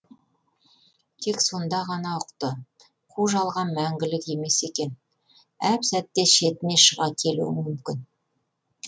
тек сонда ғана ұқты қу жалған мәңгілік емес екен әп сәтте шетіне шыға келуің мүмкін